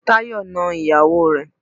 Táyọ̀ na ìyàwó rẹ̀.